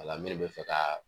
Wala minnu bɛ fɛ ka